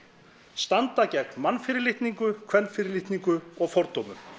standa gegn mannfyrirlitningu kvenfyrirlitningu og fordómum